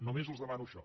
només els demano això